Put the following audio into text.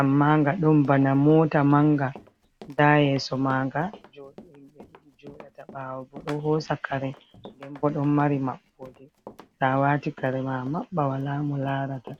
amma nga ɗon bana mota manga nda yeso manga joɗobe joɗata bawo bo ɗo hosa kare den bo don mari mabɓode tow awati kare ma amabɓa wala mo larata.